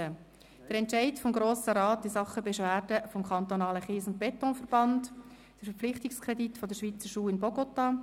Der Entscheid des Kantons Bern in Sachen Beschwerde des kantonalen Kies- und Betonverbands, Verpflichtungskredit der Schweizer Schule in Bogotá.